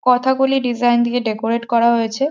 Kathakali design দিয়ে decorate করা হয়েছে।